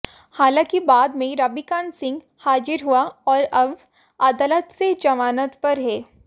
हालांकि बाद में रविकांत सिंह हाजिर हुआ और अब अदालत से जमानत पर है